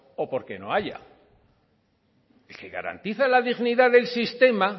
o porque no haya el que garantiza la dignidad del sistema